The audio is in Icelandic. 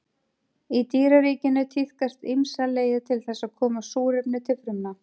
Í dýraríkinu tíðkast ýmsar leiðir til þess að koma súrefni til frumna.